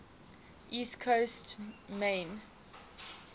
east coast maine